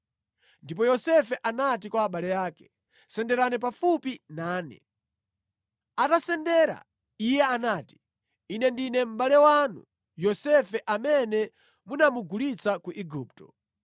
Ndipo Yosefe anati kwa abale ake, “Senderani pafupi nane.” Atasendera iye anati, “Ine ndine mʼbale wanu Yosefe amene munamugulitsa ku Igupto!